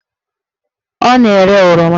Ọ na-ere oroma